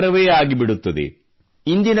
ಚಮತ್ಕಾರವೇ ಆಗಿಬಿಡುತ್ತದೆ